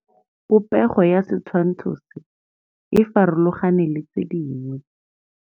Popêgo ya setshwantshô se, e farologane le tse dingwe.